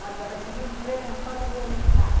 Quando recebeu um prêmio em Hollywood, ela estava.